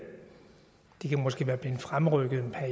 de kan måske være blevet fremrykket